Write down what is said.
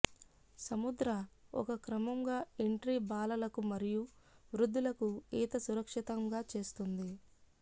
సముద్ర ఒక క్రమంగా ఎంట్రీ బాలలకు మరియు వృద్ధులకు ఈత సురక్షితంగా చేస్తుంది